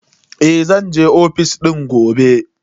Eh, zan je ofis gobe.